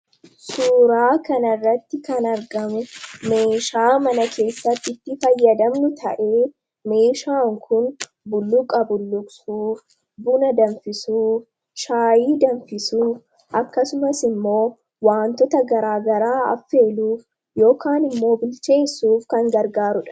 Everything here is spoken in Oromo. suuraa kan irratti kan argame meeshaa mana keessatti itti fayyadamnu ta'ee meeshaan kun bulluqa bulluqsuuf buna danfisuuf shaayii danfisuuf akkasumas immoo wantoota garaagaraa affeeluuf yookaan immoobilcheessuuf kan gargaarudha